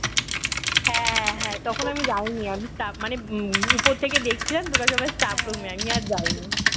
হ্যাঁ হ্যাঁ তখন আমি যাইনি আমি তা মানে উপর থেকে দেখছিলাম তোরা সবাই staff room এ আমি আর যাইনি